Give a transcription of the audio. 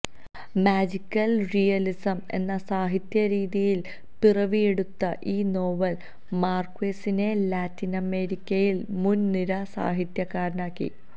magical realism എന്ന സാഹിത്യ രീതിയില് പിറവിയെടുത്ത ഈ നോവല് മാര്ക്വേസിനെ ലാറ്റിനമേരിക്കയില് മുന് നിര സാഹിത്യ കാരനാക്കി